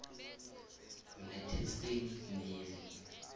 united states navy